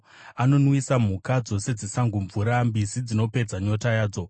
Anonwisa mhuka dzose dzesango mvura; mbizi dzinopedza nyota yadzo.